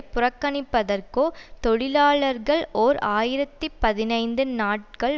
புறக்கணிப்பதற்கோ தொழிலாளர்கள் ஓர் ஆயிரத்தி பதினைந்து நாட்கள்